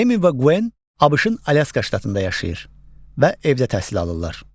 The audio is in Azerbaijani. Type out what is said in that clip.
Emin və Quen ABŞ-ın Alyaska ştatında yaşayır və evdə təhsil alırlar.